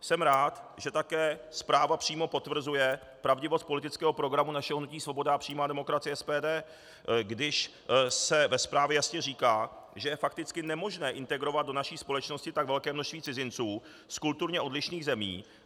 Jsem rád, že také zpráva přímo potvrzuje pravdivost politického programu našeho Hnutí svoboda a přímá demokracie - SPD, když se ve zprávě jasně říká, že je fakticky nemožné integrovat do naší společnosti tak velké množství cizinců z kulturně odlišných zemí.